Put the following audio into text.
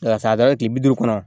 Ka taa yen kile bi duuru kɔnɔ